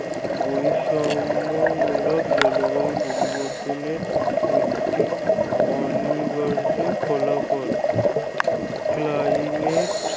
বৈষম্যমূলক জলবায়ু পরিবর্তনের একটি অনিবার্য ফলাফল। climate